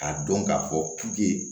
K'a dɔn k'a fɔ